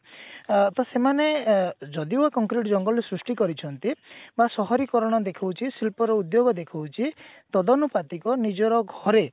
ଅ ତ ସେମାନେ ଅ ଯଦିଓ concrete ଜଙ୍ଗଲ ସୃଷ୍ଟି କରିଛନ୍ତି ବ ସହରିକରଣ ଦେଖୋଉଛି ଶିଳ୍ପ ର ଉଦ୍ଯୋଗ ଦେଖୋଉଛି ତଦନୁପାତିକ ନିଜର ଘରେ